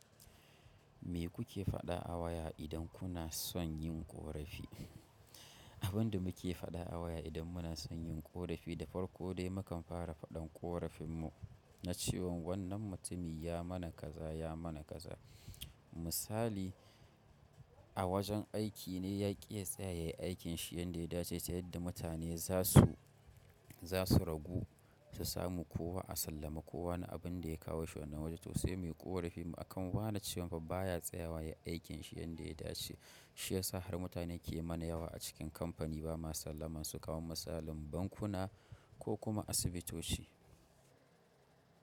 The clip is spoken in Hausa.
Me kuke faɗa a waya idan kuna son yin ƙorafi? Abin da muke faɗa a waya idan muna son yin ƙorafi da farko dai mukan fara faɗan ƙorafin mu na cewa wannan mutumin ya mana kaza, ya mana kaza. Misali a wajen aiki ne ya ƙi ya tsaya ya yi aikin shi yanda ya dace ta yadda mutane za su, za su ragu su samu kowa a sallame kowa na abin da ya kawo shi wannana wajen. To sai mai ƙorafin mu a kan wa na cewa fa baya tsayawa ya yi aikin shi yanda ya dace. Shiyasa har mutane ke mana yawa a cikin company bama sallaman su kamar misalin bankuna ko kuma asibitoci.